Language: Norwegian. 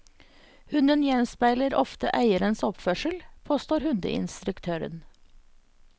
Hunden gjenspeiler ofte eierens oppførsel, påstår hundeinstruktøren.